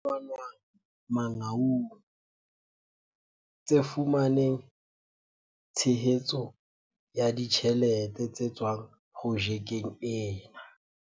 tse fumanwang Mangaung tse fumaneng tshe hetso ya ditjhelete tse tswang projekeng ena.